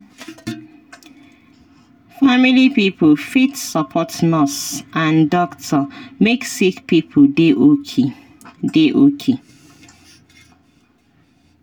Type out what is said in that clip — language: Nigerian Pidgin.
family pipo fit support nurse and doctor make sick pipo dey okay. dey okay.